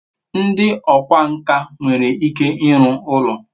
ndi okwá nkà nwere ike iru ulo